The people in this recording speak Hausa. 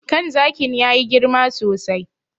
Kan zakin ya yi girma sosai.